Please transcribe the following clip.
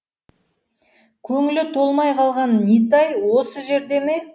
көңілі толмай қалған нитай осы жерде ме